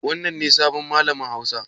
Wannan ne sabon malamin hausa?